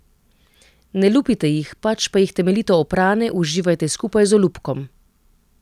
Ne lupite jih, pač pa jih temeljito oprane uživajte skupaj z olupkom.